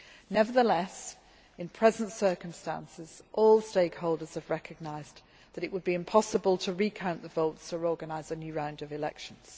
Nevertheless, in present circumstances, all stakeholders have recognised that it would be impossible to recount the votes or organise a new round of elections.